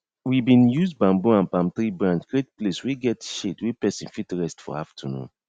we bin use bamboo and palm tree branch create place wey get shade wey person fit rest for aftanoon